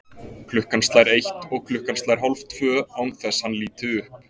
Klukkan slær eitt og klukkan slær hálftvö, án þess hann líti upp.